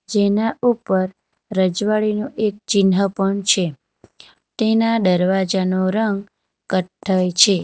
જેના ઉપર રજવાડી નું એક ચિન્હ પણ છે ટેના દરવાજા નો રંગ કઠ્ઠઈ છે.